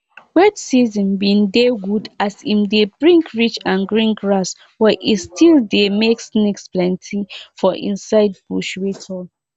i join the village group for pipo wey get animal so i go fit um dey able to use the general land. um